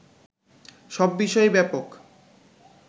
সব বিষয়েই ব্যাপক